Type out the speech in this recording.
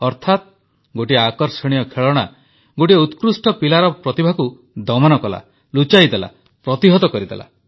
ଅର୍ଥାତ ଗୋଟିଏ ଆକର୍ଷଣୀୟ ଖେଳଣା ଗୋଟିଏ ଉତ୍କୃଷ୍ଟ ପିଲାଟିର ପ୍ରତିଭାକୁ ଦମନ କଲା ଲୁଚାଇ ଦେଲା ପ୍ରତିହତ କରିଦେଲା